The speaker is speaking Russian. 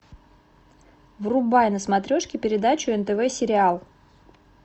врубай на смотрешке передачу нтв сериал